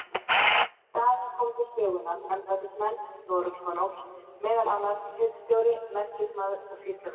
Í staðinn komu til sögunnar embættismenn Noregskonungs, meðal annars hirðstjóri, merkismaður og sýslumenn.